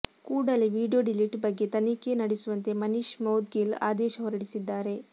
ಕೂಡಲೇ video delete ಬಗ್ಗೆ ತನಿಖೆ ನಡೆಸುವಂತೆ ಮನೀಷ್ ಮೌದ್ಗಿಲ್ ಆದೇಶ ಹೊರಡಿಸಿದ್ದಾರೆ